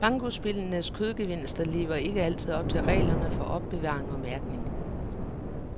Bankospillenes kødgevinster lever ikke altid op til reglerne for opbevaring og mærkning.